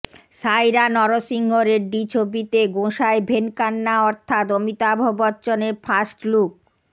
সায়রা নরসিংহ রেড্ডি ছবিতে গোঁসাই ভেনকান্না অর্থাৎ অমিতাভ বচ্চনের ফার্স্টলুক